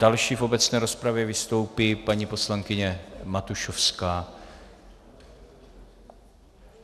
Další v obecné rozpravě vystoupí paní poslankyně Matušovská.